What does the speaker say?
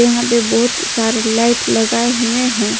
यहां पे बहुत सारे लाइट लगाए हुए हैं।